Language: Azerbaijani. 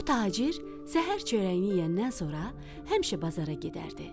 Bu tacir səhər çörəyini yeyəndən sonra həmişə bazara gedərdi.